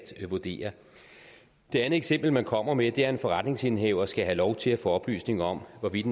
vurdere det andet eksempel man kommer med er at en forretningsindehaver skal have lov til at få oplysninger om hvorvidt